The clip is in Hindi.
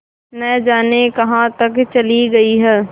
न जाने कहाँ तक चली गई हैं